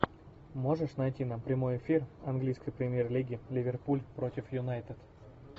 можешь найти нам прямой эфир английской премьер лиги ливерпуль против юнайтед